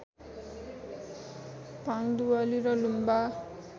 फाङ्दुवाली र लुम्बा